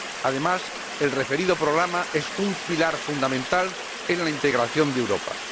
Además, el referido programa es un pilar fundamental en la integración de Europa.